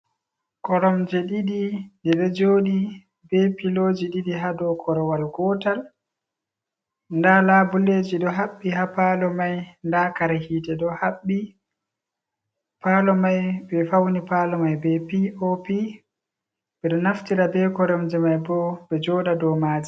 Koromje ɗiɗi ɗeɗo joɗi be piloji ɗiɗi ha dow korowal gotal, nda labulleji ɗo haɓɓi ha palo mai, nda kare hite ɗo haɓbi, palo mai be fauni palo mai be pop, ɓeɗo naftira be koromje mai bo ɓe joɗa dow maje.